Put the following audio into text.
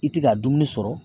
I ti k'a dumuni sɔrɔ